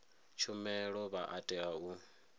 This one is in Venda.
tshumelo vha a tea u